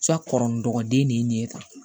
Ca kɔrɔ ni dɔgɔden de ye nin ye tan